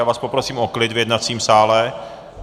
Já vás poprosím o klid v jednacím sále.